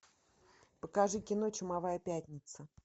покажи кино чумовая пятница